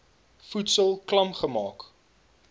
voedsel klam gemaak